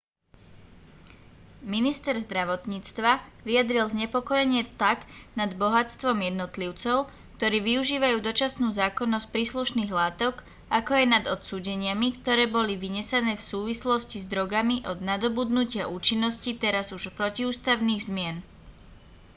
minister zdravotníctva vyjadril znepokojenie tak nad bohatstvom jednotlivcov ktorí využívajú dočasnú zákonnosť príslušných látok ako aj nad odsúdeniami ktoré boli vynesené v súvislosti s drogami od nadobudnutia účinnosti teraz už protiústavných zmien